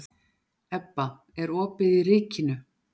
Ebba, er opið í Ríkinu?